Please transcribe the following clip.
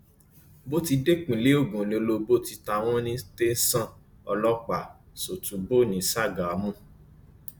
bó ti dé ìpínlẹ ogun ni olóbó ti ta wọn ní tẹsán ọlọpàá sọtúbọ ní ṣàgámù